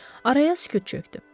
Araya sükut çökdü.